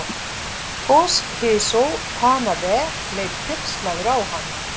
Toshizo Tanabe leit hneykslaður á hann.